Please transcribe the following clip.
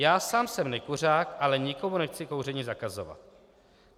Já sám jsem nekuřák, ale nikomu nechci kouření zakazovat.